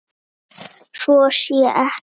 Svo sé ekki.